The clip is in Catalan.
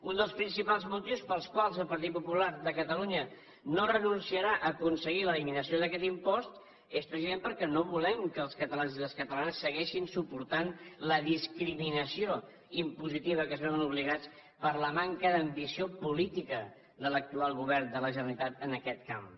un dels principals motius pels quals el partit popular de catalunya no renunciarà a aconseguir l’eliminació d’aquest impost és precisament perquè no volem que els catalans i les catalanes segueixin suportant la discriminació impositiva a què es veuen obligats per la manca d’ambició política de l’actual govern de la generalitat en aquest camp